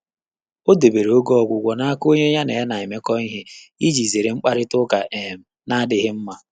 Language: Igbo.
Ọ́ dèbèrè ògé ọ́gwụ́gwọ́ n’áká ọ́nyé yá nà yá nà-émékọ́ íhé ìjí zéré mkpàrị́tà ụ́ká um nà-ádị́ghị́.